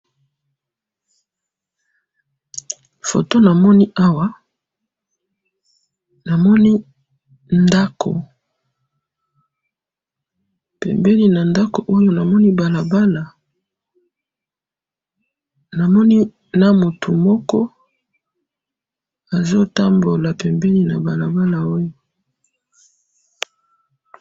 photo namoni awa namoni ndako pembeni na ndako oyo namoni balabala namoni na mutu moko azo tambola na balabala oyo